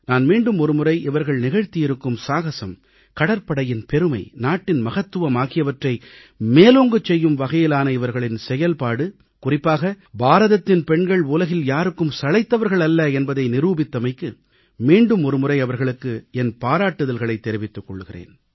நான் மீண்டும் ஒருமுறை இவர்கள் நிகழ்த்தியிருக்கும் சாகசம் கடற்படையின் பெருமை நாட்டின் மகத்துவம் ஆகியவற்றை மேலோங்கச் செய்யும் வகையிலான இவர்களின் சிறப்பான செயல்பாடு குறிப்பாக பாரதத்தின் பெண்கள் உலகில் யாருக்கும் சளைத்தவர்கள் அல்ல என்பதை நிரூபித்தமைக்கு மீண்டும் ஒருமுறை அவர்களுக்கு என் பாராட்டுதல்களைத் தெரிவித்துக் கொள்கிறேன்